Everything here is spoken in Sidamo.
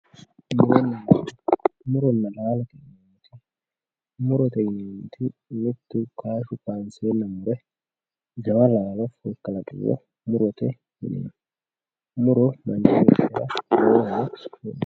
muronna laalote yinanniti murote yinanniti mittu kaashshi kaanseenna fule jawa laalo kalaqiriro murote yineemmo muro manchi beettira lowo horo afidhino.